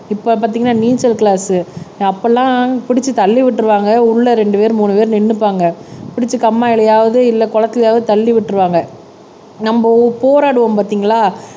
இப்ப பாத்தீங்கன்னா நீச்சல் கிளாஸ் அப்பெல்லாம் புடிச்சு தள்ளி விட்டுருவாங்க உள்ள ரெண்டு பேர் மூணு பேர் நின்னுப்பாங்க பிடிச்சு கம்மாயிலயாவது இல்ல குளத்திலயாவது தள்ளி விட்டுருவாங்க நம்ம போராடுவோம் பாத்தீங்களா